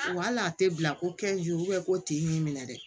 Wa hali a tɛ bila ko ko ten y'i minɛ dɛ